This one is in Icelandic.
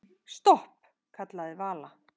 Stopp, kallaði Vala.